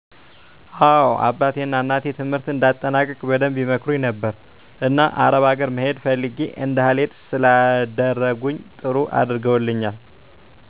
አዎ አባቴ ና እናቴ ትምህርትን እንድአጠናቅቅ በደንብ ይመክሩኝ ነበር። እና አረብ አገር መሄድ ፈልግ እንዳልሄድ ስላደረኝ ጥሩ አድርገውልኛል።